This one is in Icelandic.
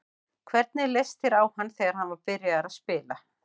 Hvernig leist þér á hann þegar hann var byrjaður að spila?